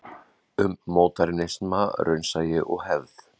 Um módernisma, raunsæi og hefð.